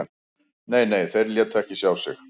Nei, nei, þeir létu ekki sjá sig